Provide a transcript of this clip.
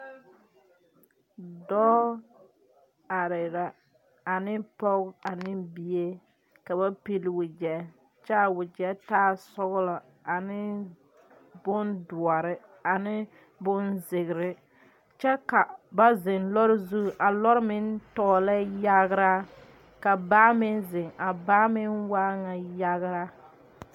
Doɔ areɛ la ane poge ane bie. Ka ba pile wagye. Kyɛ a wagye taa sɔglɔ ane bon duore ane bon ziire. Kyɛ ka ba zeŋ lɔre zu. A lɔre meŋ tɔglɛ yagraa. Ka baa meŋ zeŋ. A baa meŋ waa na yagraa